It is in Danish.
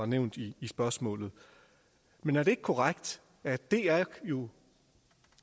nævnt i spørgsmålet men er det ikke korrekt at dr jo